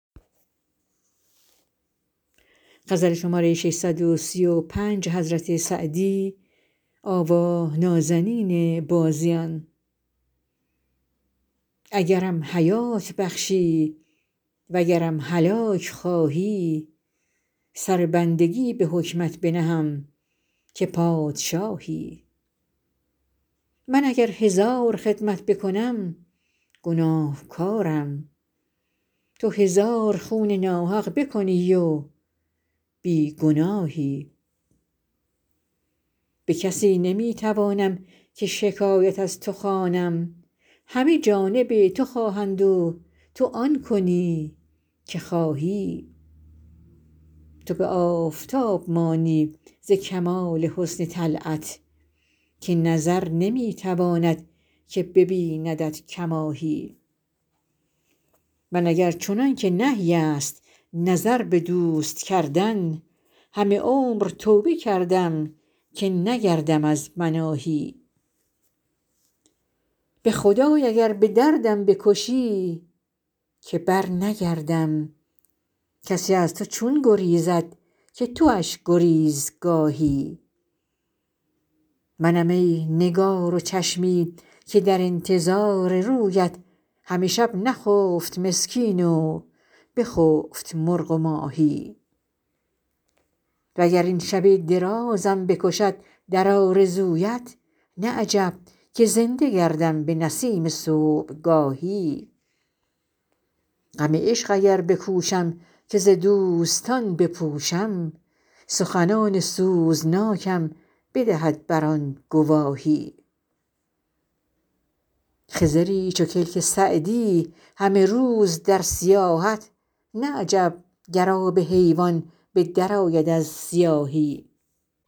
اگرم حیات بخشی وگرم هلاک خواهی سر بندگی به حکمت بنهم که پادشاهی من اگر هزار خدمت بکنم گناهکارم تو هزار خون ناحق بکنی و بی گناهی به کسی نمی توانم که شکایت از تو خوانم همه جانب تو خواهند و تو آن کنی که خواهی تو به آفتاب مانی ز کمال حسن طلعت که نظر نمی تواند که ببیندت کماهی من اگر چنان که نهی است نظر به دوست کردن همه عمر توبه کردم که نگردم از مناهی به خدای اگر به دردم بکشی که برنگردم کسی از تو چون گریزد که تواش گریزگاهی منم ای نگار و چشمی که در انتظار رویت همه شب نخفت مسکین و بخفت مرغ و ماهی و گر این شب درازم بکشد در آرزویت نه عجب که زنده گردم به نسیم صبحگاهی غم عشق اگر بکوشم که ز دوستان بپوشم سخنان سوزناکم بدهد بر آن گواهی خضری چو کلک سعدی همه روز در سیاحت نه عجب گر آب حیوان به درآید از سیاهی